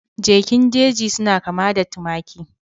Jakin jeji suna kama da tumaki